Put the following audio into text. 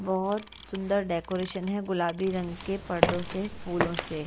बोहोत सुंदर डेकोरेशन है गुलाबी रंग के परदो से फूलों से।